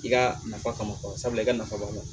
I ka nafa kama sabula i ka nafa b'a la